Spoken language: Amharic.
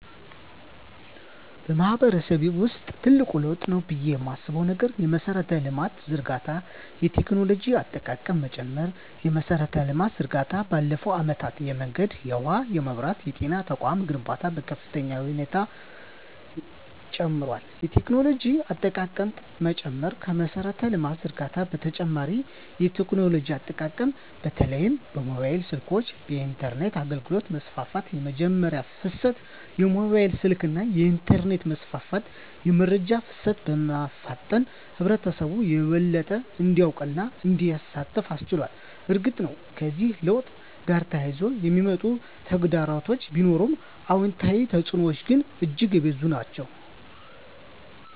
በማህበረሰቤ ውስጥ ትልቅ ለውጥ ነው ብዬ የማስበው ነገር የመሠረተ ልማት ዝርጋታ እና የቴክኖሎጂ አጠቃቀም መጨመር ነው። የመሠረተ ልማት ዝርጋታ ባለፉት አመታት የመንገድ፣ የውሃ፣ የመብራት እና የጤና ተቋማት ግንባታ በከፍተኛ ሁኔታ ጨምሯል። የቴክኖሎጂ አጠቃቀም መጨመር ከመሠረተ ልማት ዝርጋታ በተጨማሪ የቴክኖሎጂ አጠቃቀም በተለይም የሞባይል ስልኮች እና የኢንተርኔት አገልግሎት መስፋፋት። * የመረጃ ፍሰት: የሞባይል ስልክና የኢንተርኔት መስፋፋት የመረጃ ፍሰትን በማፋጠን ህብረተሰቡ የበለጠ እንዲያውቅና እንዲሳተፍ አስችሏል። እርግጥ ነው፣ ከዚህ ለውጥ ጋር ተያይዘው የሚመጡ ተግዳሮቶች ቢኖሩም፣ አዎንታዊ ተፅዕኖዎቹ ግን እጅግ የበዙ ናቸው።